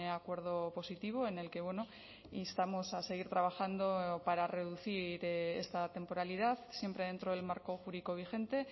acuerdo positivo en el que instamos a seguir trabajando para reducir esta temporalidad siempre dentro del marco jurídico vigente